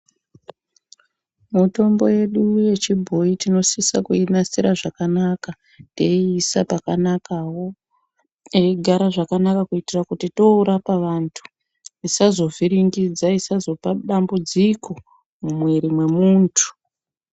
Mitombo yedu yechiboyi tinosisa kuinasira zvakanaka .Teyiisa pakanakawo teigara zvakanaka kuitira kuti yoorapa vantu isazovhiringidza isazopa dambudziko mumwiri mwemuntu.